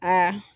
Aa